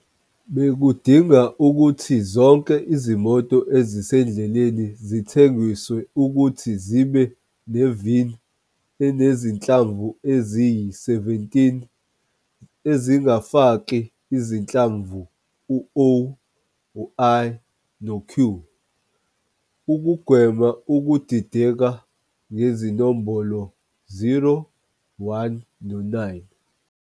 Bekudinga ukuthi zonke izimoto ezisendleleni zithengiswe ukuthi zibe ne-VIN enezinhlamvu eziyi-17, ezingafaki izinhlamvu O, o, I, i, no-Q, q, ukugwema ukudideka ngezinombolo 0, 1, no-9.